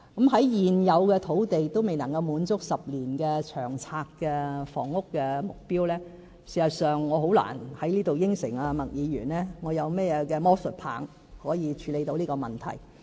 在現有土地仍未能滿足10年長遠房屋策略的目標時，事實上，我難以在此答應麥議員我有何魔術棒可以處理到這問題。